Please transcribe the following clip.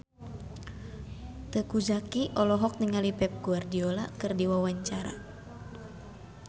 Teuku Zacky olohok ningali Pep Guardiola keur diwawancara